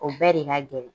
O bɛɛ de ka gɛlɛn